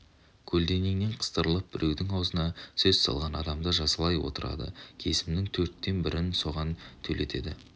көлденеңнен қыстырылып біреудің аузына сөз салған адамды жазалай отырады кесімнің төрттен бірін соған төлетеді